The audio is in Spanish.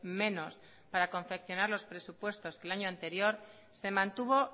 menos para confeccionar los presupuestos del año anterior se mantuvo